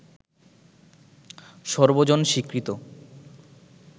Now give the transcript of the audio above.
সর্বজন স্বীকৃত